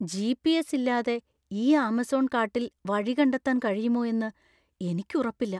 GPS. ഇല്ലാതെ ഈ Amazon കാട്ടില്‍ വഴി കണ്ടെത്താൻ കഴിയുമോ എന്ന് എനിക്ക് ഉറപ്പില്ല.